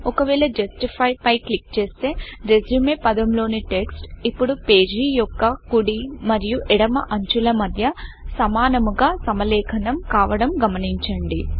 ఒకవేళ జస్టిఫైJustify పై క్లిక్ చేస్తే రెస్యూమెRESUME పదం లోని టెక్స్ట్ ఇప్పుడు పేజీ యొక్క కుడి మరియు ఎడమ అంచులు మధ్య సమానముగా సమలేఖనం కావడం గమనించండి